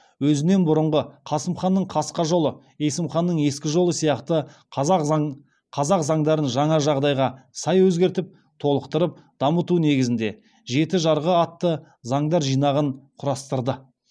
өзінен бұрынғы қасым ханның қасқа жолы есім ханның ескі жолы сияқты қазақ заңдарын жаңа жағдайға сай өзгертіп толықтырып дамыту негізінде жеті жарғы атты заңдар жинағын құрастырды